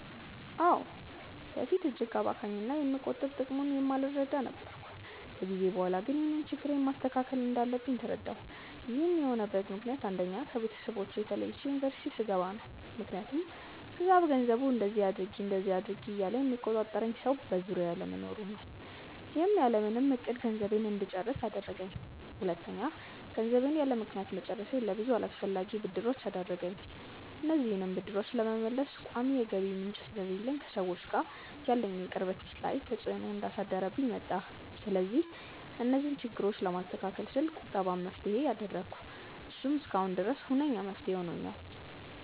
አዎ። በፊት እጅግ አባካኝ እና የመቆጠብ ጥቅሙን የማልረዳ ነበርኩ። ከጊዜ በኋላ ግን ይህንን ችግሬን ማስተካከል እንዳለብኝ ተረዳሁ። ይህን የሆነበት ምክንያት አንደኛ: ከቤተሰቦቼ ተለይቼ ዩኒቨርስቲ ስገባ ነው። ምክያቱም እዛ በገንዘቡ እንደዚ አድርጊ እንደዛ አድርጊ እያለ የሚቆጣጠረኝ ሰው በዙሪያዬ አለመኖሩ ነው። ይህም ያለምንም እቅድ ገንዘቤን እንድጨርስ አደረገኝ። ሁለተኛ: ገንዘቤን ያለምክንያት መጨረሴ ለብዙ አላስፈላጊ ብድሮች ዳረገኝ። እነዚህንም ብድሮች ለመመለስ ቋሚ የገቢ ምንጭ ስለሌለኝ ከሰዎች ጋር ያለኝን ቅርበት ላይ ተፅዕኖ እያሳደረብኝ መጣ። ስለዚህ እነዚህን ችግሮች ለማስተካከል ስል ቁጠባን መፍትሄ አደረኩ። እሱም እስካሁን ድረስ ሁነኛ መፍትሄ ሆኖኛል።